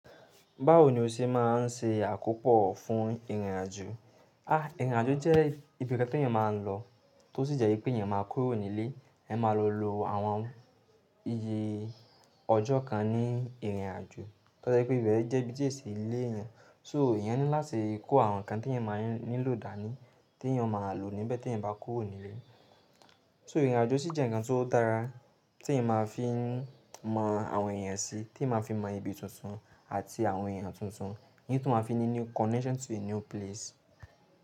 Báwo ni o ṣe máa ń ṣe àkópò fún ìrìnàjò? Àh! Ìrìnàjò jẹ́ ibi kẹan teyan maa n lọ tó sì jẹ́ pé eeyan ma kúrò ní ilé, ẹ máa lọ lo àwọn iye ọjọ́ kan ní ìrìnàjò, tẹo je pé ìbẹ̀ jẹ́ ibi tí ẹ se ilé eyan. So eyan ńilá tí kó àwọn nǹkan teyan máa nílò dàní, tí eyan máa lò níbẹ̀ teyan bá kúrò nílé. So ìrìnàjò sì jẹ́ ǹkan tó dára tí ẹyan máa fi mọ àwọn èèyàn sí, tí ẹyan máa fi n mọ ibi tuntun àti àwọn èèyàn tuntun, ní tó máa fi ní new connection to a new place.